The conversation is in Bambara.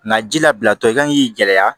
Nka ji labilatɔ i kan k'i gɛlɛya